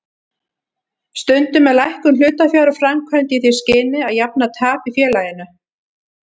Stundum er lækkun hlutafjár framkvæmd í því skyni að jafna tap í félaginu.